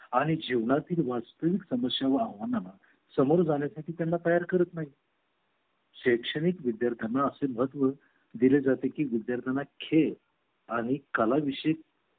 आणि जीवनातील वास्तविक समस्या व आव्हानां ना सामोरे जाण्यासाठी त्यांना तयार करत नाही शैक्षणिक विद्यार्थ्यांना असे महत्व दिले जाते की विद्यार्थ्यांना खेळ आणि कला विषयी